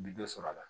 Bi dɔ sɔrɔ a la